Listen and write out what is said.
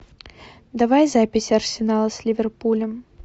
давай запись арсенала с ливерпулем